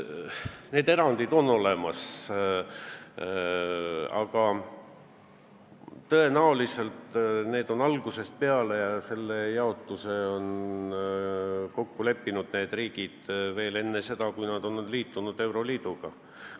Need erandid on olemas, aga tõenäoliselt on selline jaotus kokku lepitud enne seda, kui need riigid ühinesid euroliiduga.